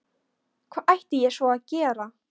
Hvað ætti ég svo sem að gera?